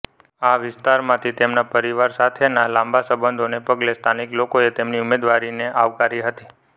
આ વિસ્તારમાંથી તેમના પરિવાર સાથેના લાંબા સંબંધોને પગલે સ્થાનિક લોકોએ તેમની ઉમેદવારીને આવકારી હતી